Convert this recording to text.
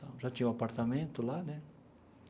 Já tinha um apartamento lá, né?